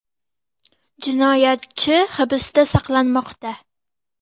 Jinoyatchi hibsda saqlanmoqda.